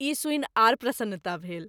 ई सूनि आर प्रसन्नता भेल।